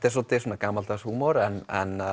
er svolítið gamaldags húmor en